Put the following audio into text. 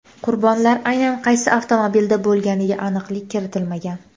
Qurbonlar aynan qaysi avtomobilda bo‘lganiga aniqlik kiritilmagan.